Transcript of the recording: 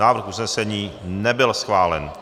Návrh usnesení nebyl schválen.